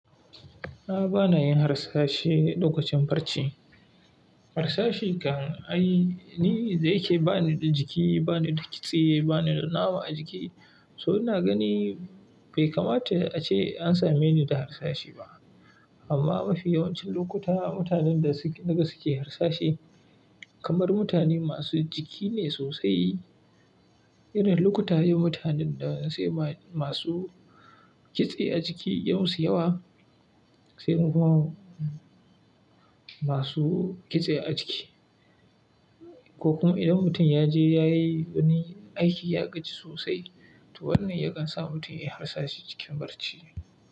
A'a bana yin harsashe, ɗaukacin barci. Harsashi kan a yi, ni da yake bani da jiki, bani da kitse, bani da nama a jiki, so ina gani bai kamata a ce an same ni da harsashi ba. Amma mafi yawancin lokuta, mutanen da suke, daga suke harsashi kamar mutane masu jiki ne sosai. Irin lukuta ye mutanen da sai masu kitse a jiki ya musu yawa, sai kuma masu kitse a jiki. Ko kuma idan mutum ya je ya yi wani aiki ya gaji sosai, to wannan yakan sa mutum ya yi harsashi cikin barci.